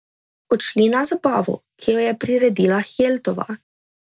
Odšli na zabavo, ki jo je priredila Hjeltova.